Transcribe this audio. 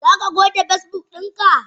Zaka goge Facebook dinka?